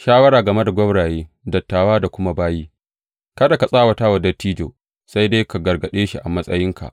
Shawara game da gwauraye, dattawa da kuma bayi Kada ka tsawata wa dattijo, sai dai ka gargaɗe shi a matsayinka.